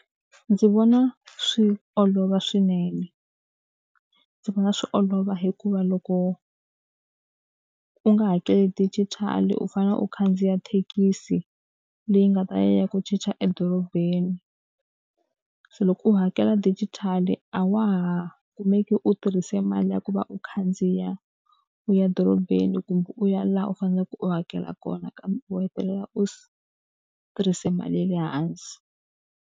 Ndzi vona swi olova swinene, ndzi vona swi olova hikuva loko u nga hakeli digital-i u fanele u khandziya thekisi, leyi nga ta ya yi ya ku chicha edorobeni. Se loko u hakela dijitali a wa ha kumeki u tirhise mali ya ku va u khandziya u ya dorobeni kumbe u ya laha u faneleke u hakela kona kambe u hetelela u tirhise mali ya le hansi.